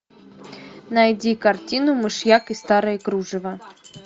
найди картину мышьяк и старое кружево